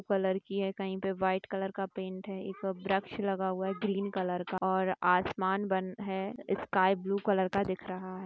Colour की है कहीं पर व्हाइट कलर का पेन्ट है एक वृक्ष लगा हुआ है ग्रीन कलर का और आसमान बन है स्काई ब्लू कलर का दिख रहा है।